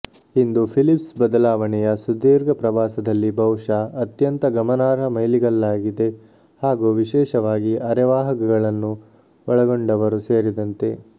ಇದು ಫಿಲಿಪ್ಸ್ ಬದಲಾವಣೆಯ ಸುದೀರ್ಘ ಪ್ರವಾಸದಲ್ಲಿ ಬಹುಶಃ ಅತ್ಯಂತ ಗಮನಾರ್ಹ ಮೈಲಿಗಲ್ಲಾಗಿದೆ ಹಾಗೂ ವಿಶೇಷವಾಗಿ ಅರೆವಾಹಕಗಳನ್ನು ಒಳಗೊಂಡವರು ಸೇರಿದಂತೆ